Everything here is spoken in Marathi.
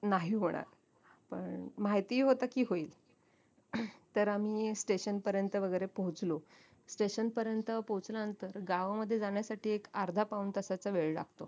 नाही होणार पण माहितीही होत की होईल तर आम्ही station पर्यंत वैगेरे पोहचलो station पर्यंत पोहचल्यानंतर गावामध्ये जाण्यासाठी एक अर्धा पाऊण तासाचा वेळ लागतो